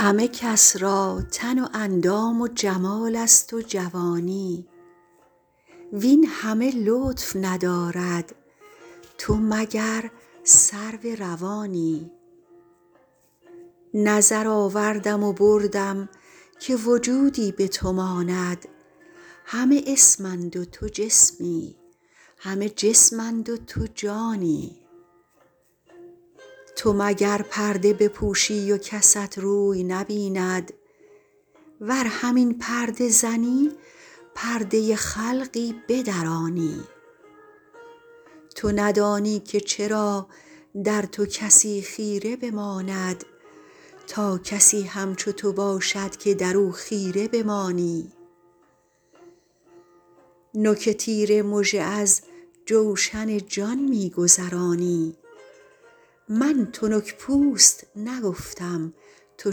همه کس را تن و اندام و جمال است و جوانی وین همه لطف ندارد تو مگر سرو روانی نظر آوردم و بردم که وجودی به تو ماند همه اسم اند و تو جسمی همه جسم اند و تو جانی تو مگر پرده بپوشی و کست روی نبیند ور همین پرده زنی پرده خلقی بدرانی تو ندانی که چرا در تو کسی خیره بماند تا کسی همچو تو باشد که در او خیره بمانی نوک تیر مژه از جوشن جان می گذرانی من تنک پوست نگفتم تو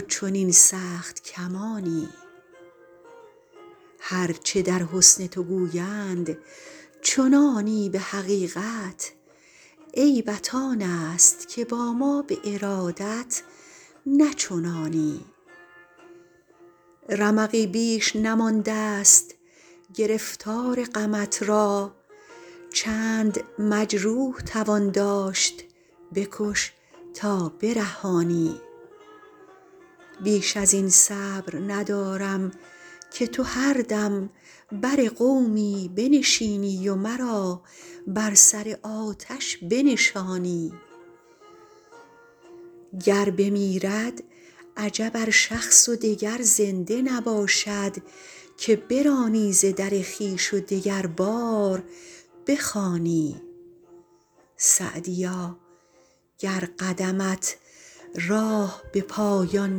چنین سخت کمانی هر چه در حسن تو گویند چنانی به حقیقت عیبت آن است که با ما به ارادت نه چنانی رمقی بیش نمانده ست گرفتار غمت را چند مجروح توان داشت بکش تا برهانی بیش از این صبر ندارم که تو هر دم بر قومی بنشینی و مرا بر سر آتش بنشانی گر بمیرد عجب ار شخص و دگر زنده نباشد که برانی ز در خویش و دگربار بخوانی سعدیا گر قدمت راه به پایان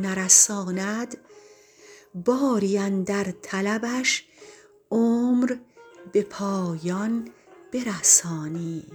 نرساند باری اندر طلبش عمر به پایان برسانی